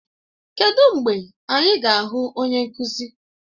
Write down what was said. Kedụ mgbe anyị ga-ahụ onye nkụzi?